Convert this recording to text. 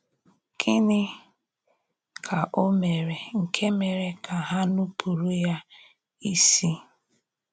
Gịnị ka Ọ mèré nke mèrè ka hà nùpùrù ya ísì?